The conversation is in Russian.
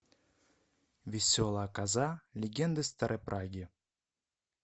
веселая коза легенды старой праги